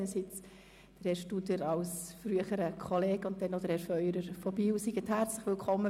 Ich heisse sowohl Herrn Studer als ehemaligen Kollegen als auch Herrn Feurer aus Biel herzlich willkommen.